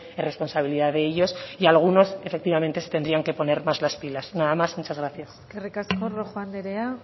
es responsabilidad de ellos y algunos efectivamente se tendrían que poner más las pilas nada más muchas gracias eskerrik asko rojo anderea